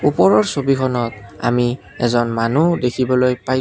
ওপৰৰ ছবিখনত আমি এজন মানুহ দেখিবলৈ পাইছোঁ।